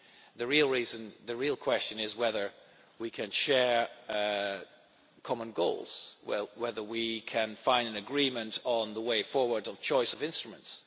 The real question is whether we can share common goals, whether we can find an agreement on the way forward, on the choice of instruments.